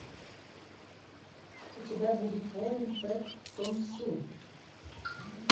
у тебя будет воин пэк тон су